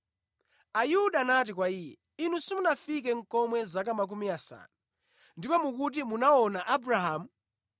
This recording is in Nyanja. Ayuda anati kwa Iye, “Inu sumunafike nʼkomwe zaka makumi asanu, ndipo mukuti munamuona Abrahamu!”